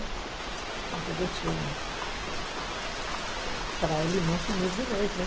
Então eu deixei um, para ele não sumir de vez, né.